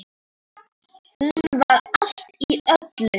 Hún var allt í öllu.